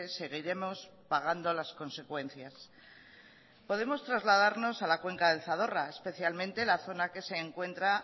seguiremos pagando las consecuencias podemos trasladarnos a la cuenca del zadorra especialmente la zona que se encuentra